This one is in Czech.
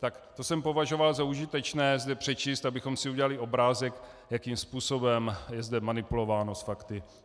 Tak to jsem považoval za užitečné zde přečíst, abychom si udělali obrázek, jakým způsobem je zde manipulováno s fakty.